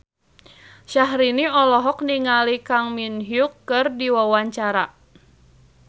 Syahrini olohok ningali Kang Min Hyuk keur diwawancara